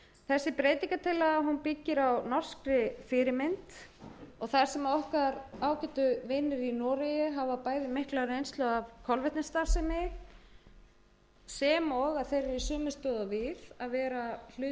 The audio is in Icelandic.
þessi breytingartillaga byggist á norskri fyrirmynd og þar sem okkar ágætu vinir í noregi hafa bæði mikla reynslu af kolvetnisstarfsemi sem og að þeir eru í sömu stöðu og við að vera hluti af e e s